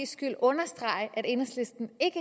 skyld understrege at enhedslisten ikke